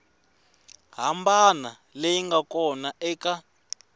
hambana leyi nga kona eka